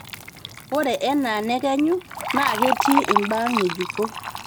ore enaa nekenyu naaa ketii imbaa ng'ejuk